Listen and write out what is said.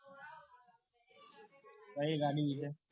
કઈ ગાડી વિશે